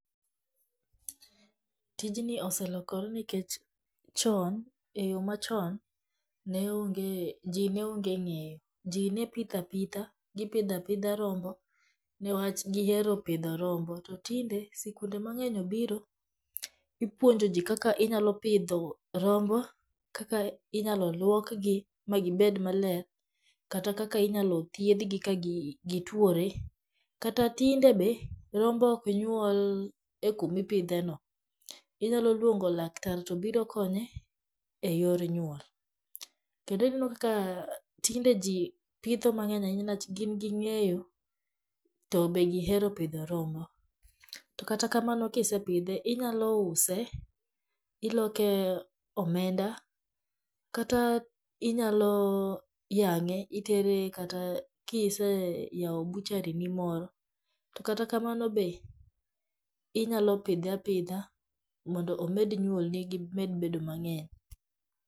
tijni oselokore nikech chon e yo machon ji ne ong'e ng'eyo ji ne pidha pidha gi pidha pidha rombo ni wach gihero pidho rombo to tinde sikunde mang'eny obiro, ipuonjo ji kaka inyalo pidho rombo kaka inyalo luok gi ma gi bed maler kata kaka inyalo thieth gi ka gituore kata tinde be rombo ok nyuol e kuma ipidhe no ,inyalo luongo laktar to biro konye e yor nyuol, kendo ineno ka tinde ji pitho mang'eny ahinya ni wach gin ging'eyo to e gihero pidho rombo, to kata kamano kisepidhe inyalo use iloke omenda kata inyalo yang'e itere kata kiseyawo butchery ni moro, to kata kamano be inyalo be inyalo pidhe apidha mondo omed nyuol ni gi med bendo mang'eny.